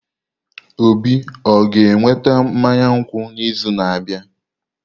Obi o ga-eweta mmanya nkwụ n'izu na-abịa?